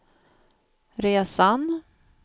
resan